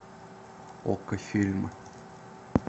окко фильмы